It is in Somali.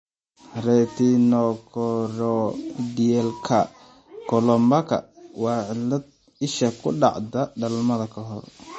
Retinochoroidalka colobomaka waa cillad isha oo dhacda dhalmada ka hor.